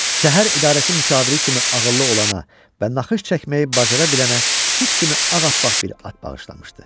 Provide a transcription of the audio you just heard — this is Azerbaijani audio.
Şəhər idarəsi müşaviri kimi ağıllı olana və naxış çəkməyi bacara bilənə süd kimi ağappaq bir at bağışlamışdı.